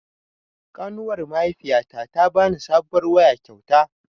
Ƙanuwar mahaifiyata ta bani sabuwar waya kyauta